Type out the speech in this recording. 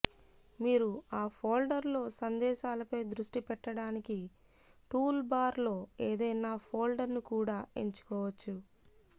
మీరు ఆ ఫోల్డర్లో సందేశాలపై దృష్టి పెట్టడానికి టూల్బార్లో ఏదైనా ఫోల్డర్ను కూడా ఎంచుకోవచ్చు